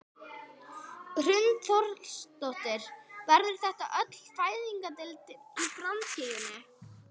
Hrund Þórsdóttir: Verður þetta á öllum fæðingardeildum í framtíðinni?